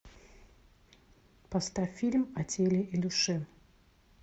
поставь фильм о теле и душе